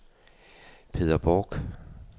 Peder Bork